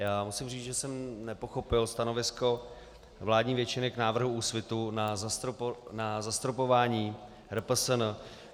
Já musím říct, že jsem nepochopil stanovisko vládní většiny k návrhu Úsvitu na zastropování RPSN.